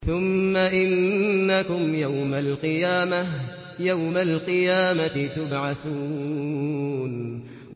ثُمَّ إِنَّكُمْ يَوْمَ الْقِيَامَةِ تُبْعَثُونَ